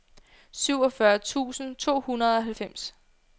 syvogfyrre tusind to hundrede og halvfems